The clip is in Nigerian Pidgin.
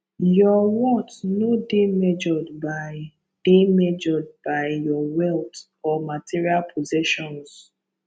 your worth no dey measured by dey measured by your wealth or material possessions